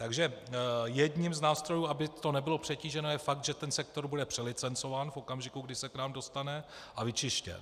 Takže jedním z nástrojů, aby to nebylo přetíženo, je fakt, že ten sektor bude přelicencován v okamžiku, kdy se k nám dostane, a vyčištěn.